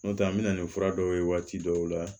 N'o tɛ an bɛna ni fura dɔw ye waati dɔw la